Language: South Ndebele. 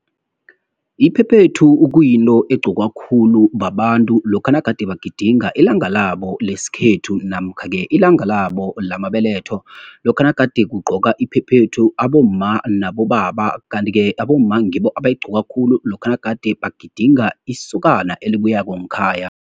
Iphephethu kuyinto egqokwa khulu babantu lokha nagade bagidinga ilanga labo lesikhethu, namkha-ke ilanga labo lamabeletho. Lokha nagade kugqoka iphephethu, abomma, nabobaba. Kanti-ke abomma ngibo abayigqoka khulu, lokha nagade bagidinga isokana elibuyako ngkhaya.